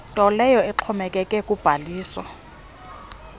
ntoleyo exhomekeke kubhaliso